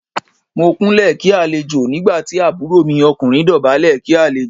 Mo Kúnlẹ̀ kí àlejò nígbà tí àbúrò mi ọkùnrin dọ̀bálẹ̀ kí àlejò.